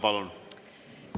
Palun!